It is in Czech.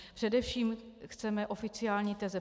Především chceme oficiální teze.